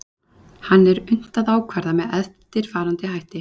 Hann er unnt að ákvarða með eftirfarandi hætti.